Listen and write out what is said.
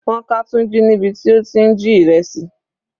Wọ́n ká Tunji níbi tí ó ti ń jí ìrẹsì.